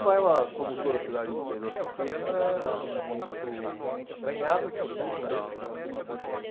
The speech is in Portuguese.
Atibaia, como toda cidade do interior, pequena, muito acanhada naquele tempo.